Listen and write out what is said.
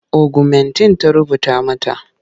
Ogumentin ta rubuta mata.